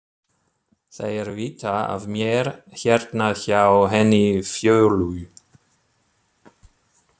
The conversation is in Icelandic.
Þeir vita af mér hérna hjá henni Fjólu.